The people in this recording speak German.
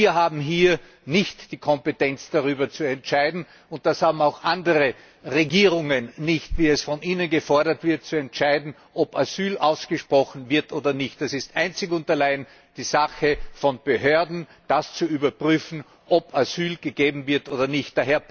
Wir haben hier nicht die Kompetenz und das haben auch andere Regierungen nicht wie es von Ihnen gefordert wird, darüber zu entscheiden, ob Asyl ausgesprochen wird oder nicht. Das ist einzig und allein die Sache von Behörden, zu überprüfen, ob Asyl gewährt wird oder nicht.